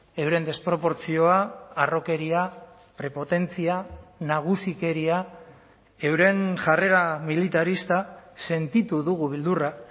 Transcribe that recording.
euren desproportzioa harrokeria prepotentzia nagusikeria euren jarrera militarista sentitu dugu beldurra